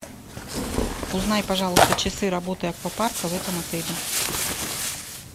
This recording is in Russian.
узнай пожалуйста часы работы аквапарка в этом отеле